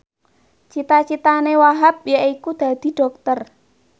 cita citane Wahhab yaiku dadi dokter